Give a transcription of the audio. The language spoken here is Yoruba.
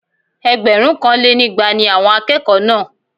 Ẹgbẹ̀rúnkanlénígba ni àwọn akẹ́kọ̀ọ́ náà